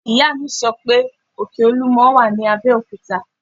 Ìyá mi sọ pé òkè olúmọ wà ní Abẹ́òkúta